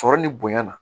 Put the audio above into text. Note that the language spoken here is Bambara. Sɔrɔ ni bonya na